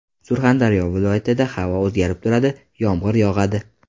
Surxondaryo viloyatida havo o‘zgarib turadi, yomg‘ir yog‘adi.